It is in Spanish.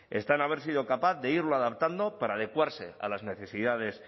está en haber sido capaz de irlo adaptando para adecuarse a las necesidades